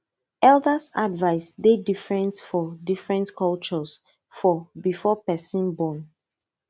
elders advice dey different for different cultures for before person born